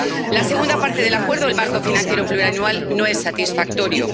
La segunda parte del acuerdo, el marco financiero plurianual, no es satisfactorio.